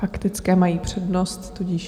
Faktické mají přednost, tudíž...